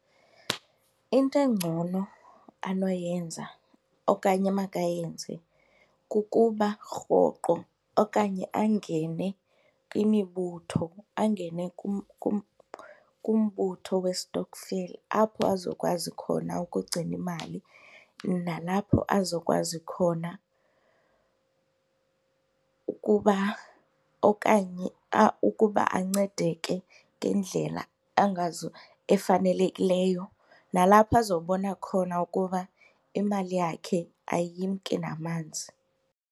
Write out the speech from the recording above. Into engcono anoyenza okanye emakayenze kukuba rhoqo okanye angene kwimibutho angene kumbutho westokfela apho azokwazi khona ukugcina imali nalapho azokwazi khona ukuba okanye ukuba ancedeke ngendlela efanelekileyo, nalapho azobona khona ukuba imali yakhe ayimki namanzi.